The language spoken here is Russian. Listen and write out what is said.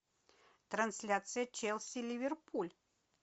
трансляция челси ливерпуль